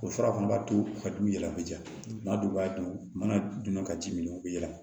O fura fana b'a to ka du yɛlɛma joona maa dɔw b'a dun mana dun ka ji min u bɛ yɛlɛ